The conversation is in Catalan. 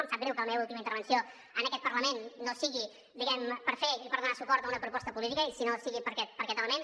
em sap greu que la meva última intervenció en aquest parlament no sigui diguem ne per fer i per donar suport a una proposta política sinó per aquest element